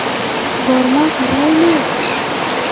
Korma kuurayin?